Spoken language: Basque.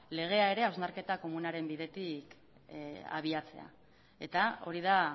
legea ere hausnarketa komunaren bidetik abiatzea eta hori da